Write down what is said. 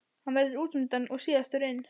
Hann verður útundan og síðastur inn.